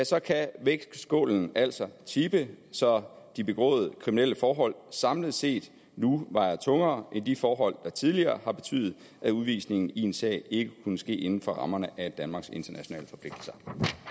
sagt kan vægtskålen altså tippe så de begåede kriminelle forhold samlet set nu vejer tungere end de forhold der tidligere har betydet at udvisningen i en sag ikke kunne ske inden for rammerne af danmarks internationale forpligtelser